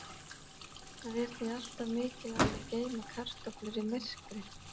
Það er því alltaf mikilvægt að geyma kartöflur í myrkri.